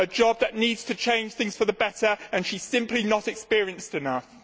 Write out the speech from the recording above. a job that needs to change things for the better and she is simply not experienced enough.